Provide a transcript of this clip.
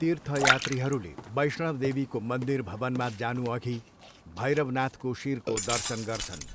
तीर्थयात्रीहरूले वैष्णवदेवीको मन्दिर भवनमा जानुअघि भैरवनाथको शिरको दर्शन गर्छन्।